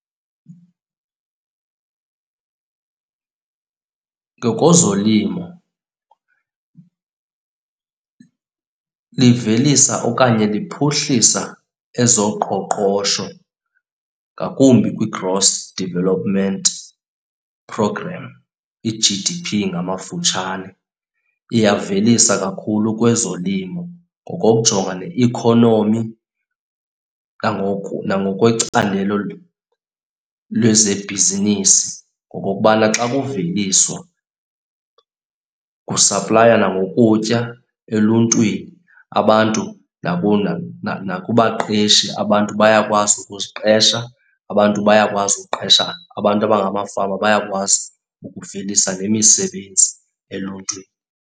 Ngokozolimo livelisa okanye liphuhlisa ezoqoqosho ngakumbi kwi-gross development program, i-G_D_P ngamafutshane. Iyavelisa kakhulu kwezolimo ngokokujonga neikhonomi nangoku nangokwecandelo lwezebhizinisi ngokokubana xa kuveliswa kusaplaywa nangokutya eluntwini, abantu nakubaqeshi. Abantu bayakwazi ukuziqesha, abantu bayakwazi ukuqesha, abantu abangamafama bayakwazi ukuvelisa nemisebenzi eluntwini.